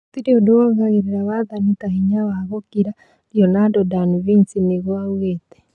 Gũtirĩ ũndũ wongagĩrĩra wathani ta hinya wa gũkira Leonardo da Vinci nĩguo oigĩte